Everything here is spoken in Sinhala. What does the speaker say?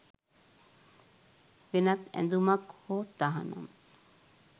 වෙනත් ඇඳුමක් හෝ තහනම්